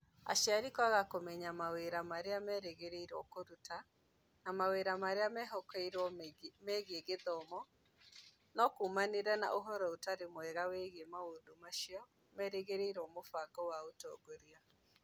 Aciari kwaga kũmenya mawĩra marĩa merĩgagĩrĩrũo kũruta, na mawĩra marĩa mehokeirũo megiĩ gĩthomo no kuumanire na Ũhoro ũtarĩ mwega wĩgiĩ maũndũ macio meriragĩrio mũbango wa ũtongoria.